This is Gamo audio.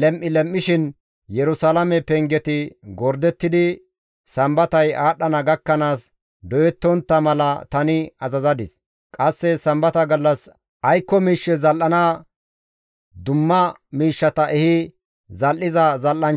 lem7i lem7ishin Yerusalaame pengeti gordettidi Sambatay aadhdhana gakkanaas doyettontta mala tani azazadis; qasse Sambata gallas aykko miishshe zal7ana ekki yontta mala ta oosanchchatappe issota issota gimbaa penge naagana mala zabe woththadis.